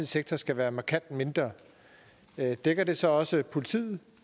sektor skal være markant mindre dækker det så også politiet